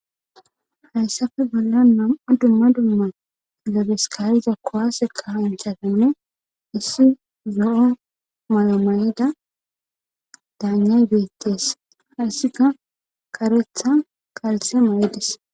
Hayssafe bolla nam'a dumma dumma kilebes ka'iza kuwase kassanchchatinne issi zo'o malaya mayida daanyay beettes hayssika kareththa qalse ma'idees